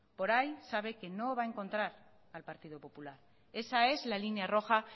por ahí sabe que no va a encontrar al partido popular esa es la línea roja